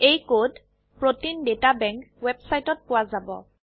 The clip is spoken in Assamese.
এই কোড প্ৰতেইন ডাটা বেংক ওয়েবসাইটত পোৱা যাব